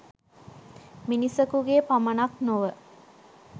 මිනිසකුගේ පමණක් නොව